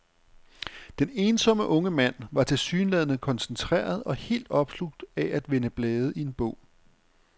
Den ensomme unge mand var tilsyneladende koncentreret og helt opslugt af at vende blade i en bog.